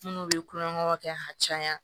Minnu bɛ kulonkɛw kɛ ka caya